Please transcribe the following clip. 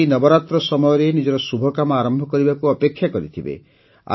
କେହି କେହି ନବରାତ୍ର ସମୟରେ ନିଜର ଶୁଭକାମ ଆରମ୍ଭ କରିବାକୁ ଅପେକ୍ଷା କରିଥିବେ